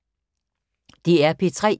DR P3